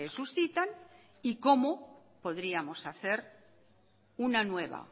suscitan y como podríamos hacer una nueva